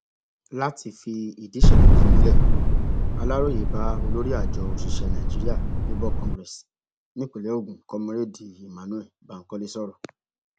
láti fìdí ìṣẹlẹ yìí múlẹ aláròye bá olórí àjọ òṣìṣẹ nigeria labour congress nípínlẹ ogun komúrẹẹdì emmanuel bankole sọrọ